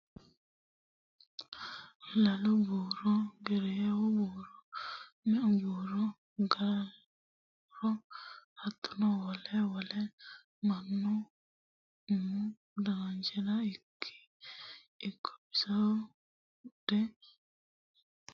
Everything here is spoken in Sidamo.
Lalu buuro gereewu buuro meu buuro gaalu buuro hattono wole wole mannu umu dananchira ikko bisoho buudhe keeranchimasi agadhano woyte baxisano.